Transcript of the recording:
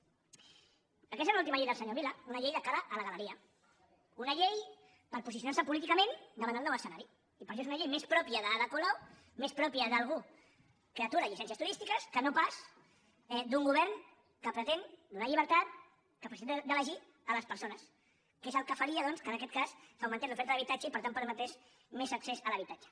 aquesta és l’última llei del senyor vila una llei de cara a la galeria una llei per posicionarse políticament davant del nou escenari i per això és una llei més pròpia d’ada colau més pròpia d’algú que atura llicències turístiques que no pas d’un govern que pretén donar llibertat capacitat d’elegir a les persones que és el que faria doncs que en aquest cas augmentés l’oferta d’habitatge i per tant permetés més accés a l’habitatge